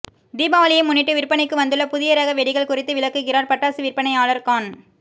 தீபாவளியை முன்னிட்டு விற்பனைக்கு வந்துள்ள புதிய ரக வெடிகள் குறித்து விளக்குகிறார் பட்டாசு விற்பனையாளர் கான்